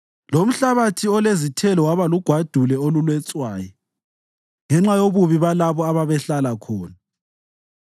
lomhlabathi olezithelo waba lugwadule oluletshwayi, ngenxa yobubi balabo ababehlala khona.